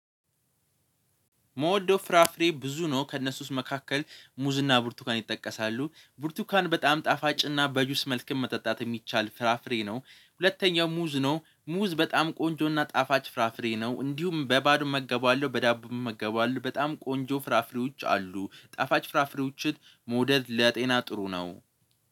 የምወደው ፍራፍሬ ብዙ ነው ከእነሱ ውስጥ መካከል ሙዝና ብርቱካን ይጠቀሳሉ ብርቱካን በጣም ጣፋጭና በጁስ መልክም መጠጣት የሚቻል ፍራፍሬ ነው። ሁለተኛው ሙዝ ነው ሙዝ በጣም ቆንጆና ጣፋጭ ፍራፍሬ ነው። እንዲሁም በባዶ መገቡ አለዠዳቦ እመገበዋለሁ በጣም ቆንጆ ፍራፍሬዎች አሉ። ጣፋጭ ፍራፍሬዎችን መውደድ ለጤና ጥሩ ነው።